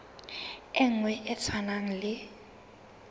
e nngwe e tshwanang le